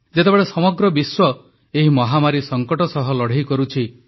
ଯେତେବେଳେ ସମଗ୍ର ବିଶ୍ୱ ଏହି ମହାମାରୀ ସଙ୍କଟ ସହ ଲଢ଼େଇ କରୁଛି